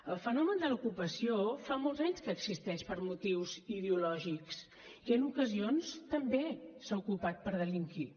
el fenomen de l’ocupació fa molts anys que existeix per motius ideològics i en ocasions també s’ha ocupat per delinquir